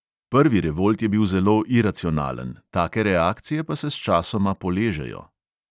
Prvi revolt je bil zelo iracionalen, take reakcije pa se sčasoma poležejo.